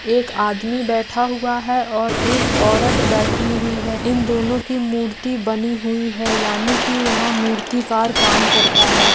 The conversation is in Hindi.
एक आदमी बैठा हुआ है और एक औरत बैठी हुई है इन दोनों की मूर्ति बनी हुई है यानी की यहाँ मूर्तिकार काम करता है।